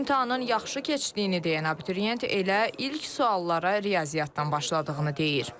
İmtahanın yaxşı keçdiyini deyən abituriyent elə ilk suallara riyaziyyatdan başladığını deyir.